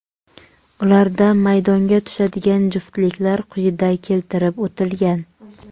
Ularda maydonga tushadigan juftliklar quyida keltirib o‘tilgan.